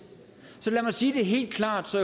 så lad mig sige det helt klart så